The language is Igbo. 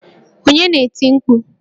Onye na-eti mkpu?